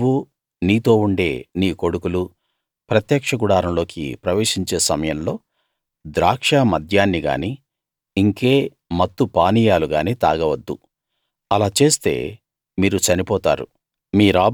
నువ్వూ నీతో ఉండే నీ కొడుకులూ ప్రత్యక్ష గుడారంలోకి ప్రవేశించే సమయంలో ద్రాక్ష మద్యాన్ని గానీ ఇంకే మత్తు పానీయాలు గానీ తాగవద్దు అలా చేస్తే మీరు చనిపోతారు